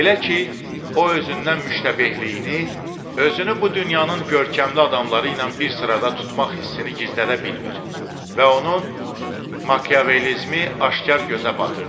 Belə ki, o özündən müştəbehliyini, özünü bu dünyanın görkəmli adamları ilə bir sırada tutmaq hissini gizlədə bilmir və onun Makiyavelizmi aşkar gözə batırdı.